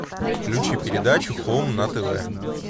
включи передачу хоум на тв